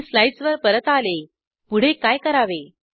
मी slides वर परत आले पुढे काय करावे